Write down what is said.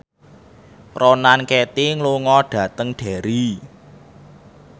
Ronan Keating lunga dhateng Derry